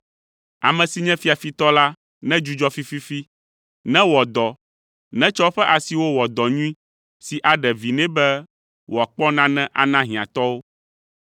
Ame si nye fiafitɔ la, nedzudzɔ fififi, newɔ dɔ, netsɔ eƒe asiwo wɔ dɔ nyui, si aɖe vi nɛ be wòakpɔ nane ana hiãtɔwo.